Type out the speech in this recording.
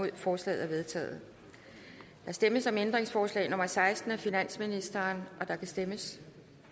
en forslaget er vedtaget der stemmes om ændringsforslag nummer seksten af finansministeren og der kan stemmes